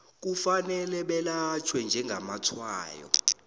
kufanele belatjhwe njengamatshwayo